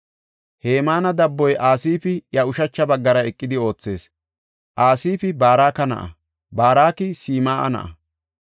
Hemaana dabboy Asaafi iya ushacha baggara eqidi oothees. Asaafi Baraka na7a; Baraka Sim7a na7a;